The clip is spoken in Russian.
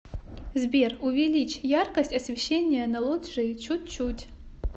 сбер увеличь яркость освещения на лоджии чуть чуть